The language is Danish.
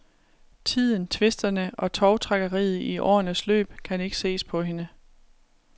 Tiden, tvisterne og tovtrækkeriet i årenes løb kan ikke ses på hende.